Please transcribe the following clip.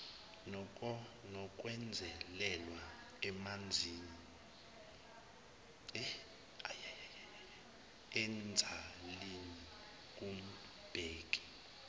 nokwenzelelwa emzalini kumbheki